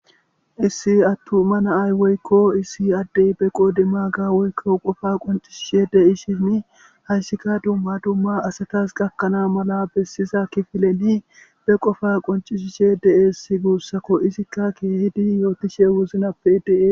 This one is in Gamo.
issi attu ma naay woykko issi addey be qoodi maga woykko qofa qoncishishe de ishinni hayssikka dumma dumma asatas gakkanaa mala bessiza kifileni be qofa qoncishishe de7eessi guussako isikka keehidi yootishe wuzunappe dee